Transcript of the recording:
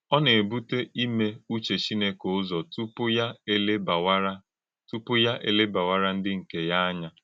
Ọ na-èbùtè ìmé ụ̀chè Chìnékè ụ̀zọ̀ túpù ya èlèbàwàrà túpù ya èlèbàwàrà ndí nkè ya ànyà.